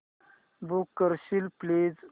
book करशील please